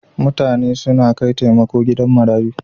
Mutane suna kai taimako gidan marayu.